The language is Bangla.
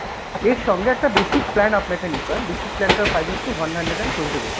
এর সঙ্গে একটা basic plan আপনাকে নিতে হয়, basic plan টার price হচ্ছে one hundred and twenty rupees।